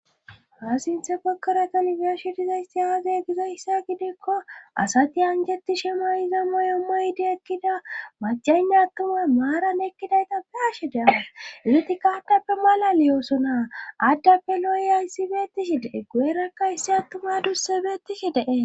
Ha sinthe pokkoratanbiyashu dizaysti aaze gizayssa gidikko asati anjetti shemoy iza moyommoydi ekkida macaynne attuma maaran ekkidayta pe ashe deama iitikka addappe mala liyooso naa addappe lo7oy hayssibeettishi dee gu7erakka issi attuma dursebeetishi dees.